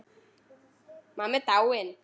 Mamma er dáin.